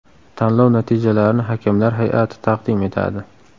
Tanlov natijalarini hakamlar hay’ati taqdim etadi.